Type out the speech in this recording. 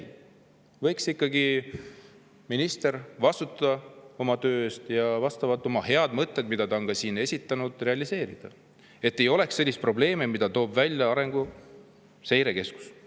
Minister võiks ikkagi vastutada oma töö eest ja oma head mõtted, mida ta on ka siin esitanud, realiseerida, et ei oleks selliseid probleeme, nagu on toonud välja Arenguseire Keskus.